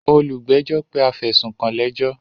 Olùgbẹ́jọ́ pé afẹ̀sùnkàn lẹ́jọ́.